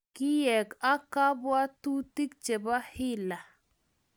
Keek ak kabwatutik chepo hila.